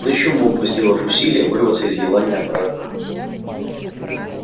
он ещё мог бы сделав усилие вырваться из елани обратно